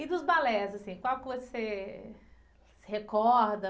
E dos balés, assim, qual que você se recorda?